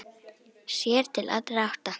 Sér til allra átta.